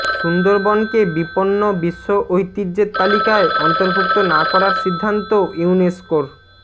সুন্দরবনকে বিপন্ন বিশ্ব ঐতিহ্যের তালিকায় অন্তর্ভুক্ত না করার সিদ্ধান্ত ইউনেসকোর